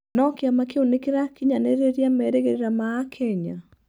No kĩama kĩu nĩkĩrakinyanĩria merigĩrĩra ma akenya?